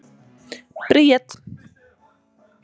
Bríet